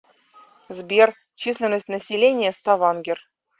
сбер численность населения ставангер